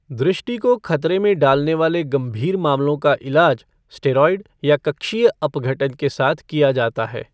दृष्टि को खतरे में डालने वाले गंभीर मामलों का इलाज स्टेरॉयड या कक्षीय अपघटन के साथ किया जाता है।